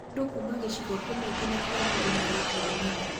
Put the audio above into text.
Mũndũ kuuma gĩcingo kĩmwe gĩnya kĩa murunawe kurumana